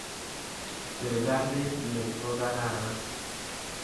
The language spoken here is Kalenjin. Sirikalit ni ko kararan